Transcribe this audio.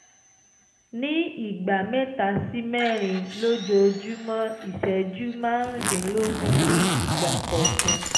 ní ìgbà mẹ́ta sí mẹ́rin lójoojúmọ́ ìṣẹ́jú márùndínlógún ní ìgbà kọ̀ọ̀kan